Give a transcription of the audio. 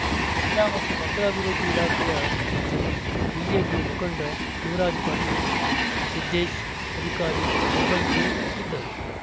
ಮಹಿಳಾ ಮತ್ತು ಮಕ್ಕಳ ಅಭಿವೃದ್ಧಿ ಇಲಾಖೆಯ ಶೃತಿ ಬಿಜೆಪಿ ಮುಖಂಡ ಶಿವರಾಜ ಪಾಟೀಲ್‌ ಸಿದ್ದೇಶ್‌ ಅಧಿಕಾರಿ ಸಿಬ್ಬಂದಿ ಇದ್ದರು